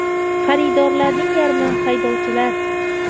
Xaridorlarning yarmi haydovchilar.